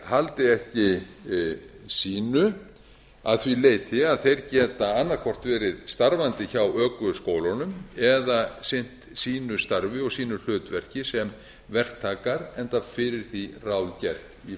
haldi ekki sínu að því leyti að þeir geta annað hvort verið starfandi hjá ökuskólunum eða sinnt sínu starfi og sínu hlutverki sem verktakar enda fyrir því ráð gert í